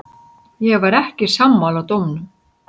Ég var ekki sammála dómnum.